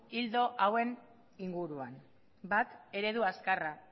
ildo hauen inguruan bat eredu azkarra